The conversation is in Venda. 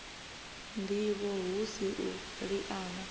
ndivho hu si u liana